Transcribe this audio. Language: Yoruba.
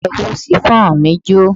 Ẹ̀wù shiffọnu mí jó.